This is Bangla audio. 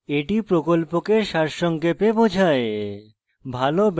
এটি প্রকল্পকে সারসংক্ষেপে বোঝায়